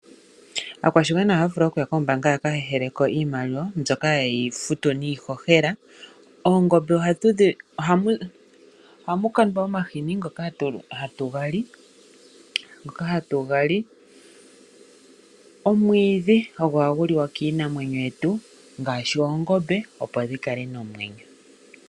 Aakwashigwana ohaya vulu okuya kombaanga yaka heheleko iimaliwa mbyoka haye yi futu niihohela. Oongombe ohamu kandwa omahini ngoka hatu ga li. Omwiidhi ogo hagu liwa kiinamwenyo yetu ngaashi oongombe opo dhikale nomwenyo.